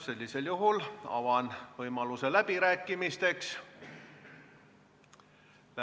Sellisel juhul avan võimaluse läbirääkimisteks.